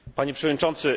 Panie Przewodniczący!